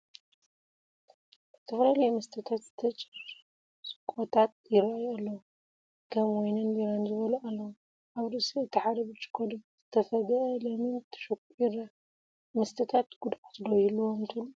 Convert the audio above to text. ዝተፈላለዩ መስተታት ዝተጭርቆታት ይራኣዩ ኣለው፡፡ ከም ዋይንን ቢራን ዝበሉ ኣለው፡፡ ኣብ ርእሲ እቲ ሓደ ብጭርቆ ድማ ዝተፈግአ ለሚን ተሰኩዑ ይረአ፡፡ መስተታት ጉድኣት ዶ ይህልዎም ትብሉ?